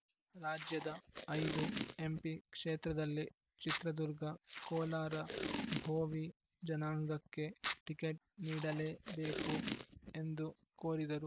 ರಾಜ್ಯದ ಐದು ಎಂಪಿ ಕ್ಷೇತ್ರದಲ್ಲಿ ಚಿತ್ರದುರ್ಗ ಕೋಲಾರ ಭೋವಿ ಜನಾಂಗಕ್ಕೆ ಟಿಕೆಟ್‌ ನೀಡಲೇ ಬೇಕು ಎಂದು ಕೋರಿದರು